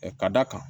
ka d'a kan